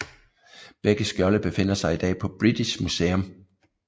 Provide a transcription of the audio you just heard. Begge skjolde befinder sig i dag på British Museum